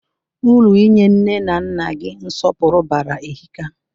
Uru inye nne na nna gị nsọpụrụ bara ehika.